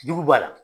Jugu b'a la